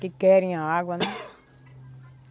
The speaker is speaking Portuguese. que querem a água, né?